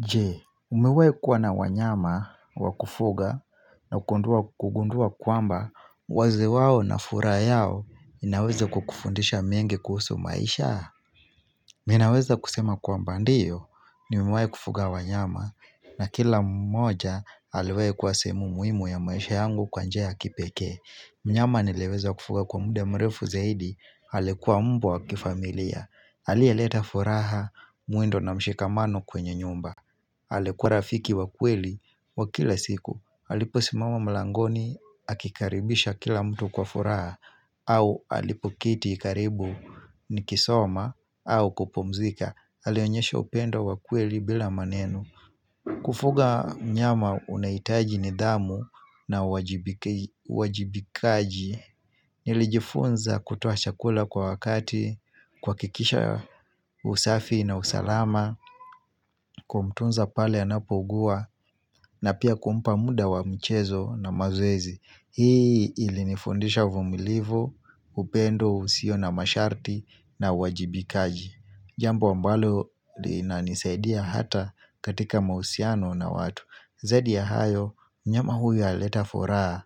Jee, umewahi kuwa na wanyama wakufuga na kugundua kwamba wazo wao inaweza kukufundisha mengi kuhusu maisha? Miminaweza kusema kwamba ndio, nimewahi kufuga wanyama na kila mmoja aliwahi kuwa sehemu muhimu ya maisha yangu kwa njia ya kipekee. Mnyama nileweza kufuga kwa munde mrefu zaidi, alikuwa mbwa wakifamilia. Aliyeleta furaha, mwendo na mshikamano kwenye nyumba. Alikuwa rafiki wa kweli wa kila siku alipo simama mlangoni akikaribisha kila mtu kwa furaha au alipo keti karibu ni kisoma au kupumzika alionyesha upendo wakweli bila maneno Kufuga mnyama unahitaji nidhamu na wajibikaji Nilijifunza kutoa chakula kwa wakati kuhakikisha usafi na usalama kumtunza pale anapo ugua na pia kumpa muda wa mchezo na mazoezi hii ili nifundisha uvumilivu. Upendo usio na masharti na uajibikaji jambo ambalo lina nisaidia hata katika mahusiano na watu zaidi ya hayo mnyama huyu alileta furaha